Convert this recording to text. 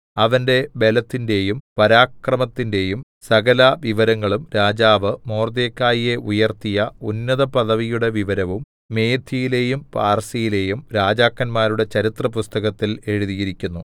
അവന്റെ ബലത്തിന്റെയും പരാക്രമത്തിന്റെയും സകലവിവരങ്ങളും രാജാവ് മൊർദെഖായിയെ ഉയർത്തിയ ഉന്നതപദവിയുടെ വിവരവും മേദ്യയിലെയും പാർസ്യയിലെയും രാജാക്കന്മാരുടെ ചരിത്രപുസ്തകത്തിൽ എഴുതിയിരിക്കുന്നു